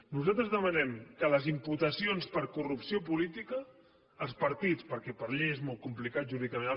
nosaltres demanem que en les imputacions per corrupció política els partits perquè per llei és molt complicat jurídicament